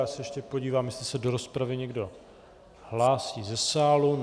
Já se ještě podívám, jestli se do rozpravy někdo hlásí ze sálu.